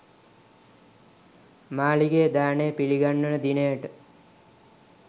මාලිගයේ දානය පිළිගන්වන දිනයට